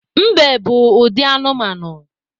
Mbe bụ ụdị anụmanụ